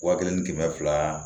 Wa kelen ni kɛmɛ fila